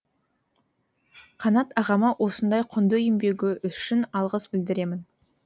қанат ағама осындай құнды еңбегі үшін алғыс білдіремін